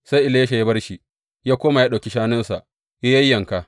Sai Elisha ya bar shi, ya koma, ya ɗauki shanunsa ya yayyanka.